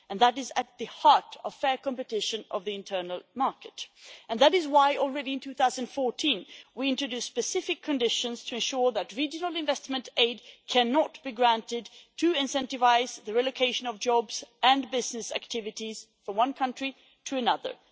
That is at the heart of fair competition in the internal market, and it is why, as long ago as 2014, we introduced specific conditions to ensure that regional investment aid cannot be granted to incentivise the relocation of jobs and business activities from one country to another.